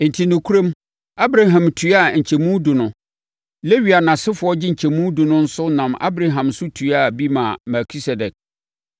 Enti, nokorɛm, Abraham tuaa nkyɛmu edu no, Lewi a nʼasefoɔ gye nkyɛmu edu no nso nam Abraham so tuaa bi maa Melkisedek.